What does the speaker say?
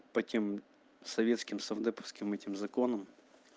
по тем советским совдеповским этим законам